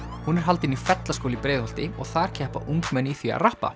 hún er haldin í Fellaskóla í Breiðholti og þar keppa ungmenni í því að